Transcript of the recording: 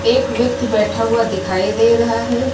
एक व्यक्ति बैठा हुआ दिखाई दे रहा है।